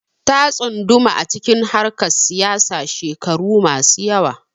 Ta tsunduma acikin harkar siyasa shekaru masu yawa